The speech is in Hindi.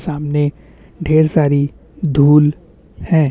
सामने ढेर सारी धूल है।